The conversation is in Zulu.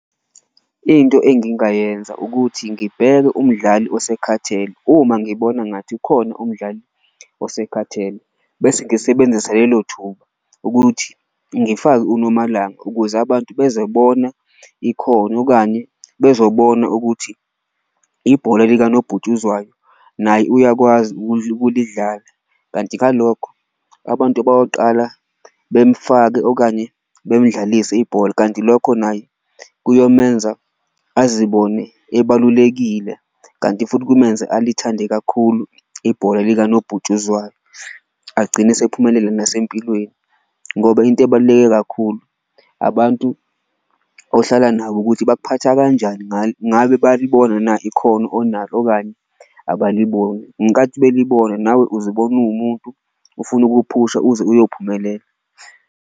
Into engingayenza ukuthi ngibheke umdlali osekhathele uma ngibona ngathi khona umdlali usekhathele, bese ngisebenzisa lelo thuba ukuthi ngifake uNomalanga ukuze abantu bezobona ikhono okanye bezobona ukuthi ibhola likanobhutshuzwayo naye uyakwazi ukulidlala. Kanti ngalokho abantu bayoqala bemufake okanye bemdlalise ibhola kanti lokho naye kuyomenza azibone ebalulekile, kanti futhi kumenze alithande kakhulu ibhola likanobhutshuzwayo agcine esephumelele nasempilweni. Ngoba into ebaluleke kakhulu abantu ohlala kubo nabo ukuthi bakuphatha kanjani ngabe bayalibona na ikhono onalo okanye abaliboni, ngenkathi belibona nawe uzibona uwumuntu ofuna ukuwuphusha uze uyophumelela.